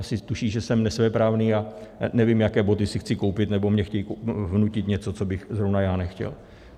Asi tuší, že jsem nesvéprávný a nevím, jaké boty si chci koupit, nebo mně chtějí vnutit něco, co bych zrovna já nechtěl.